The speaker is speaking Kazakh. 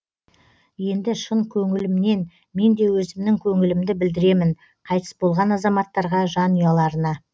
енді шын көңілімнен мен де өзімнің көңілімді білдіремін қайтыс болған азаматтарға жанұяларына